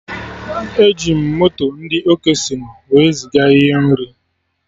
Eji m moto ndị Okesịnụ wee ziga ihe nri